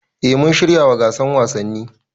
Eh mun shiryawa gasar wasanni